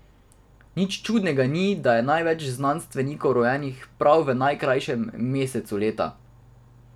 Nič čudnega ni, da je največ znanstvenikov rojenih prav v najkrajšem mesecu leta.